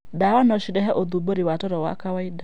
Ndawa no cirehe ũthũmbũri wa toro wa kawaida.